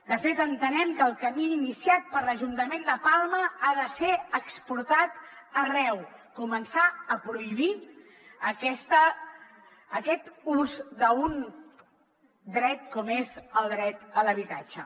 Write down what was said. de fet entenem que el camí iniciat per l’ajuntament de palma ha de ser exportat arreu començar a prohibir aquest ús d’un dret com és el dret a l’habitatge